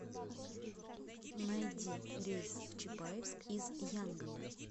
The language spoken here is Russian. найди рейс в чапаевск из янгона